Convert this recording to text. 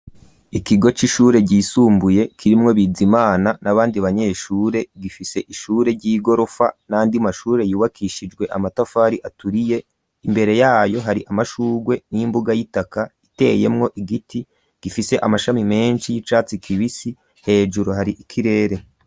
Ikigo c'ishure ryisumbuye kirimwo biza imana n'abandi banyeshure gifise ishure ry'igorofa nandi mashure yubakishijwe amatafari aturiye imbere yayo hari amashurwe n'imbuga y'itaka iteyemwo igiti gifise amashami menshi y'icatsi kibisi hejuru hari ikirere.